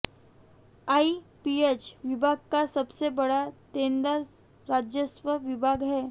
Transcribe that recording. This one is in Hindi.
आईपीएच विभाग का सबसे बड़ा देनदार राजस्व विभाग है